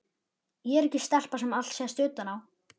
Ég er ekki stelpa sem allt sést utan á.